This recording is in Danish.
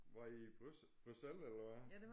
Var I i Bruxelles eller hvad